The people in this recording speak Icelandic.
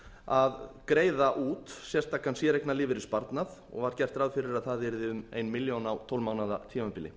að greiða út sérstakan lífeyrissparnað og var gert ráð fyrir að það yrði um ein milljón á tólf mánaða tímabili